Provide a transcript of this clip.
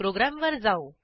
प्रोग्रॅमवर जाऊ